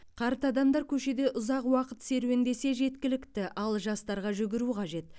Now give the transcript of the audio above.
қарт адамдар көшеде ұзақ уақыт серуендесе жеткілікті ал жастарға жүгіру қажет